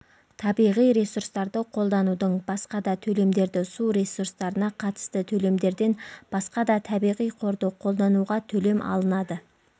табиғи ресурстарды қолданудың басқа да төлемдері су ресурстарына қатысты төлемдерден басқа да табиғи қорды қолдануға төлем алынады